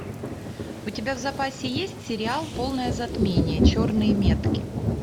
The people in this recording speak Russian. у тебя в запасе есть сериал полное затмение черные метки